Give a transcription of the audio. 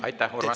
Aitäh, Urmas!